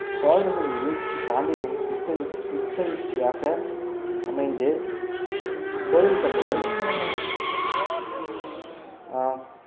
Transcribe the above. சோழர்களின் வீழ்ச்சி பாண்டியர்~ புத்தெழுச்சி~ புத்தெழுச்சியாக அமைந்து கோவில் கட்டுதல் ஆஹ்